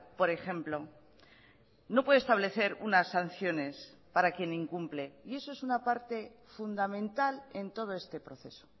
por ejemplo no puede establecer unas sanciones para quien incumple y eso es una parte fundamental en todo este proceso